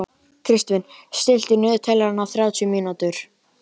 Kristvin, stilltu niðurteljara á þrjátíu mínútur.